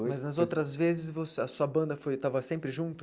Mas nas outras vezes, você a sua banda foi estava sempre junto?